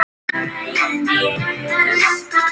Við vorum bara að njósna,